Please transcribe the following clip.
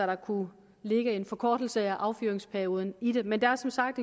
der kunne ligge en forkortelse af affyringsperioden i det men der er som sagt